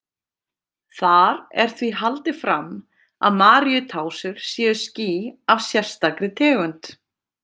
Þar er því haldið fram að Maríutásur séu ský af sérstakri tegund.